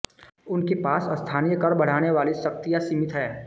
उनके पास स्थानीय कर बढ़ाने वाली शक्तियां सीमित हैं